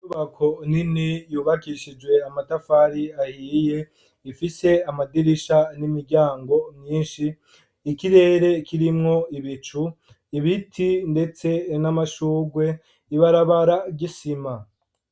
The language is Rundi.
Inyubako nini yubakishijwe amatafari ahiye ifise amadirisha n'imiryango myinshi ikirere kirimwo ibicu ibiti, ndetse n'amashurwe ibarabara gisima.